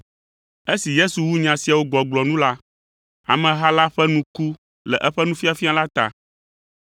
Esi Yesu wu nya siawo gbɔgblɔ nu la, ameha la ƒe nu ku le eƒe nufiafia la ta,